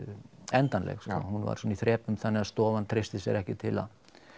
endanleg hún var svona í þrepum þannig að stofan treysti sér ekki til að